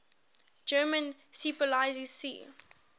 german seepolizei sea